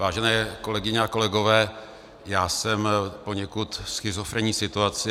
Vážené kolegyně a kolegové, já jsem v poněkud schizofrenní situaci.